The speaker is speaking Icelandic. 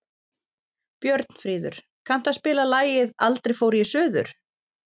Björnfríður, kanntu að spila lagið „Aldrei fór ég suður“?